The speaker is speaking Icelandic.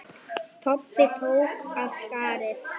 Kobbi tók af skarið.